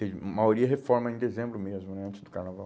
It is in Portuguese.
A maioria reforma em dezembro mesmo né, antes do carnaval.